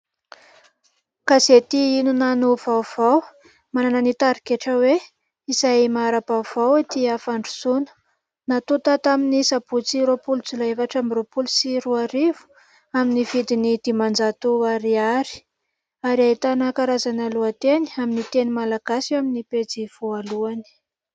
Gazety "Inona no vaovao" manana ny tarigetra hoe : "Izay mahara-baovao, tia fandrosoana". Nantota tamin'ny sabotsy roapolo Jolay efatra amby roapolo amby roa arivo amin'ny vidiny dimanjato Ariary ary ahitana karazana lohateny amin'ny teny Malagasy eo amin'ny pejy voalohany.